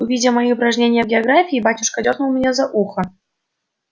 увидя мои упражнения в географии батюшка дёрнул меня за ухо